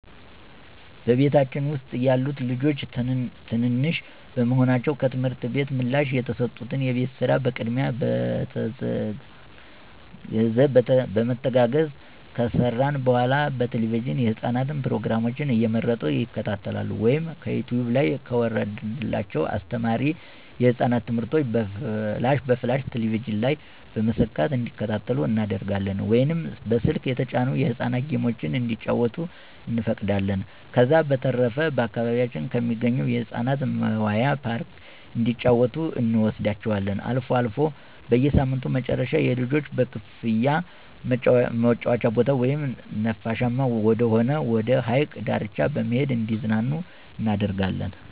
በቤታችን ውስጥ ያሉት ልጆች ትንንሽ በመሆናቸው ከትምህርት ቤት ምላሽ የተሰጡትን የቤት ስራ በቅድሚያ በመተጋገዝ ከሰራን በኃላ በቴለቪዥን የህፃናት ፕሮግራሞችን እየመረጡ ይከታተሉ ወይም ከዩቲውብ ላይ ከወረደላቸው አስተማሪ የህፃናት ትምህርቶችን በፍላሽ ቴሌቪዥን ላይ በመሰካት እንዲከታተሉ እናደርጋለን ወይም በስልክ የተጫኑ የህፃናት ጌሞችን እንዲጫወቱ እንፈቅዳለን። ከዛ በተረፈ በአካባቢያችን ከሚገኝ የህፃናት መዋያ ፓርክ እንዲጫወቱ እንወስዳቸዋለን። አልፎ አልፎ በሳምንቱ መጨረሻ የልጆች በክፍያ መጫወቻ ቦታ ወይም ነፋሻማ ወደሆነ ወደ ሀይቅ ዳርቻ በመሄድ እንዲዝናኑ እናደርጋለን።